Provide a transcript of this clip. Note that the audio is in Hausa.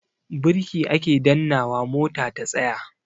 Birki ake dannnawa mota ta tsaya.